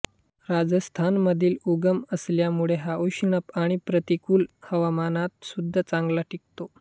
राजस्थान मधील उगम असल्यामुळे हा उष्ण आणि प्रतिकूल हवामानात सुद्धा चांगला टिकतो